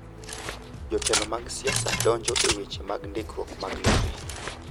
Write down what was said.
Jotelo mag siasa donjo e weche mag ndikruok mag lope.